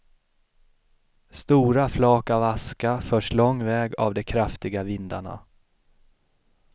Stora flak av aska förs lång väg av de kraftiga vindarna.